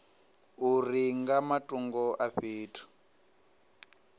uri nga matungo a fhethu